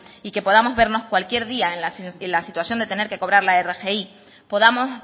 y que podamos vernos cualquier día en la situación de tener que cobrar la rgi podamos